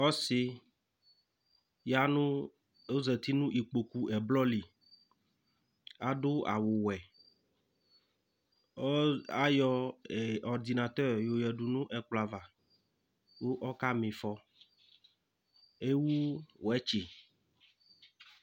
Ɔsɩ zatɩ nʊ ɩkpokʊ ɛblɔ lɩ adʊ awuwʊɛ ayɔ ɛkʊ kpɩfɔ yanʊ ɛkplɔava kama ɩfɔ ewʊ ɛkʊ sʊɩtɩ